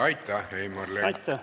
Aitäh, Heimar Lenk!